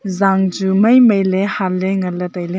zang chu mai mai le nganle taile.